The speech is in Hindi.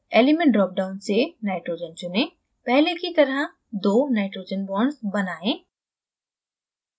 element drop down से nitrogen चुनें पहले की तरह दो nitrogen bonds बनाएं